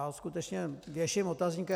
Já skutečně věším otazník.